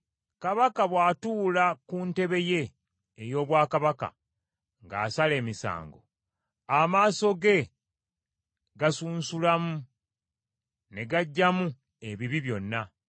Kabaka bw’atuula ku ntebe ye ey’obwakabaka ng’asala emisango, amaaso ge gasunsulamu ne gaggyamu ebibi byonna.